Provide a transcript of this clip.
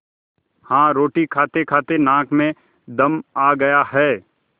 हाँ रोटी खातेखाते नाक में दम आ गया है